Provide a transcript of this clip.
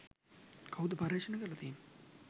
කවුද පර්යේෂණ කරල තියෙන්නෙ.